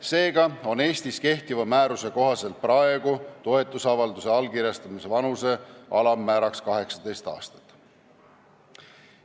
Seega on Eestis kehtiva määruse kohaselt praegu toetusavalduse allkirjastamise vanuse alammäär 18 aastat.